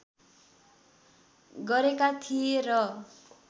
गरेका थिए र